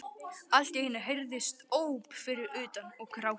Allt í einu heyrðust óp fyrir utan- og grátur.